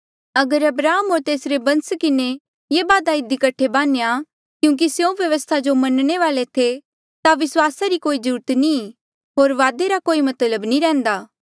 अगर अब्राहम होर तेसरे बंस किन्हें ये वादा इधी कठे बान्हेया क्यूंकि स्यों व्यवस्था जो मन्ने थे ता विस्वासा री कोई जरूरत नी होर वादे रा कोई मतलब नी रेहन्दा